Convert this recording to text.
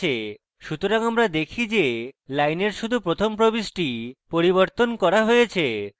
সুতরাং আমরা দেখি যে lines শুধু প্রথম প্রবিষ্টি পরিবর্তন করা হয়েছে